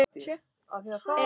Þetta var vond líðan.